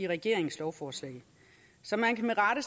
regeringens lovforslag så man kan med rette